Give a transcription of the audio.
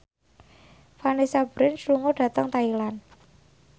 Vanessa Branch lunga dhateng Thailand